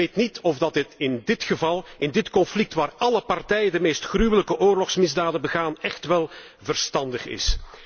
En ik weet niet of dat in dit geval, in dit conflict waar alle partijen de meest gruwelijke oorlogsmisdaden begaan, echt wel verstandig is.